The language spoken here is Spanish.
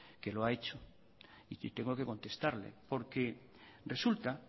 que lo ha hecho y tengo que contestarle porque resulta